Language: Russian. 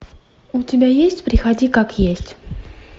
у тебя есть приходи как есть